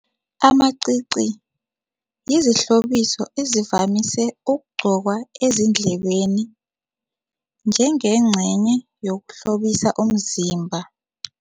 Amacici yizihlobiso ezivamise ukugqokwa ezindlebeni njengengcenye yokuhlobisa umzimba.